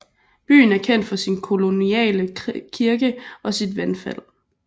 Byen er kendt for sin koloniale kirke og sit vandfald